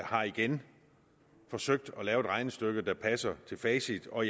har igen forsøgt at regnestykke der passer til facit og